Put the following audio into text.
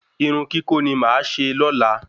Irun kíkó ni máa ṣe lóla